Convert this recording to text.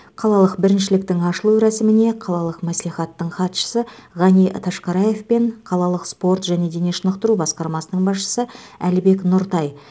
қалалық біріншіліктің ашылу рәсіміне қалалық мәслихаттың хатшысы ғани ташқараев пен қалалық спорт және дене шынықтыру басқармасының басшысы әлібек нұртай